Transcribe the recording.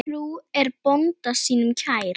Frú er bónda sínum kær.